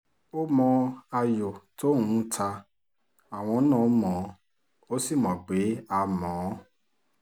ó mọ ayọ̀ tóun ń ta àwọn náà mọ́ ọn ó sì mọ̀ pé a mọ̀ ọ́n